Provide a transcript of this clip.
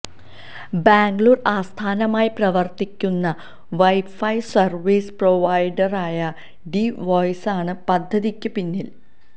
ബാംഗളൂര് ആസ്ഥാനമായി പ്രവര്ത്തിക്കുന്ന wifi service പ്രൊവൈഡറായ ഡി വോയിസാണ് പദ്ധതിക്ക് പിന്നില്